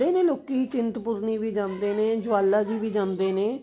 ਨੇ ਲੋਕੀ ਚਿੰਤਪੁਰਣੀ ਵੀ ਜਾਂਦੇ ਨੇ ਜਵਾਲਾ ਜੀ ਵੀ ਜਾਂਦੇ ਨੇ